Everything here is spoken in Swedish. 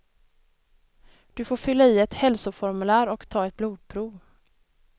Du får fylla i ett hälsoformulär och ta ett blodprov.